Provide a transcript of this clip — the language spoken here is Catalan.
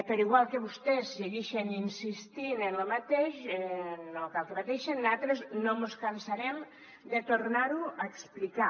però igual que vostès seguixen insistint en lo mateix no cal que pateixen natres no mos cansarem de tornar ho a explicar